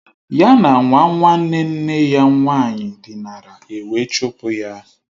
Ya na nwa nwanne nne ya nwaanyị dinara, ewe chụpụ ya